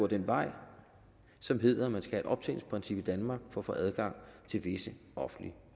den vej som hedder at man skal have et optjeningsprincip i danmark for at få adgang til visse offentlige